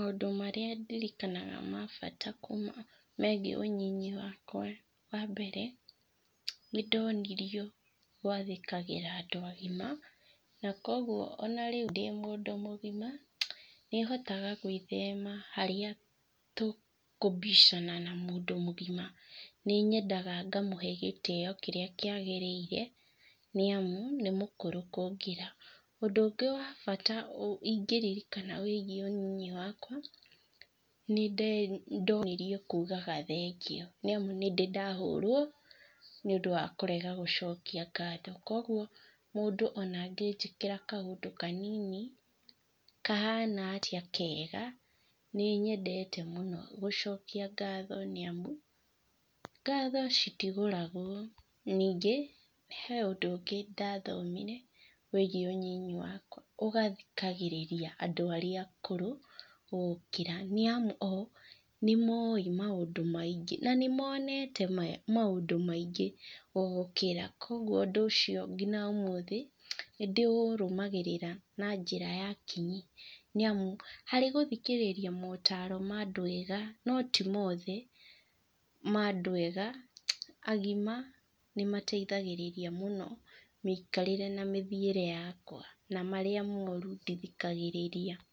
Maũndũ marĩa ndirikanaga ma bata kuma megiĩ ũnyinyi wakwa, wambere, nĩndonirio gwathĩkagĩra andũ agima, na koguo ona rĩu ndĩ mũndũ mũgima, nĩhotaga gwĩthema harĩa tũkũbicana na mũndũ mũgima, nĩnyendaga ngamũhe gĩtio kĩrĩa kĩagĩrĩire, nĩamu, nĩmũkũru kũngĩra. Ũndũ ũngĩ wa bata ingĩririkana wĩgie ũnini wakwa, nĩnde ndonirio thengio, nĩamu nĩndĩ ndahũrwo, nĩũndũ wa kũrega gũcokia ngatho, koguo mũndũ ona angĩjĩkĩra kaũndũ kanini, kahana atĩa kega, nĩ nyendete mũno gũcokia ngatho nĩamu, ngatho citigũragwo nĩngĩ, he ũndũ ũngĩ ndathomire, wĩgiĩ ũnyinyi wakwa, ũgathikagĩrĩra andũ arĩa akũrũ gũgũkĩra, niamu o, nĩmoĩ maũndũ maingĩ, na nĩ monete maũndũ maingĩ gũgũkĩra koguo ũndũ ũcio nginya ũmũthĩ nĩndĩũrumagĩrĩrĩa na njĩra ya kinyi nĩamũ harĩ gũthikĩrĩria motaro ma andũ ega, no ti mothe, ma andũ ega agima, nĩmateithagĩrĩrĩa mũno mĩikarĩre na mĩthiĩre yakwa, na marĩa moru, ndithikagĩrĩria.